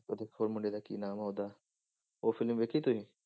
ਤੇ ਹੋਰ ਮੁੰਡੇ ਦਾ ਕੀ ਨਾਮ ਹੈ ਉਹਦਾ, ਉਹ film ਵੇਖੀ ਸੀ